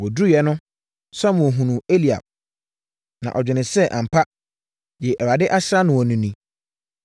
Wɔduruiɛ no, Samuel hunuu Eliab na ɔdwenee sɛ, “Ampa, deɛ Awurade asra noɔ no ni.”